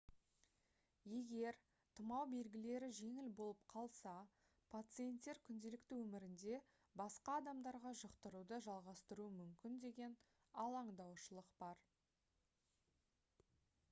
егер тұмау белгілері жеңіл болып қалса пациенттер күнделікті өмірінде басқа адамдарға жұқтыруды жалғастыруы мүмкін деген алаңдаушылық бар